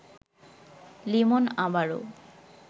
লিমন আবারও